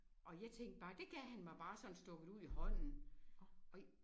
Og jeg tænkte bare det gav han mig bare sådan stukket ud i hånden